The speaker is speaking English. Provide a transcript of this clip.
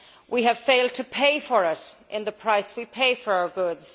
We have failed to pay for it in the price we pay for our goods.